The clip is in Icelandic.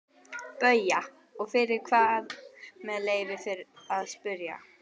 BAUJA: Og fyrir hvað með leyfi að spyrja?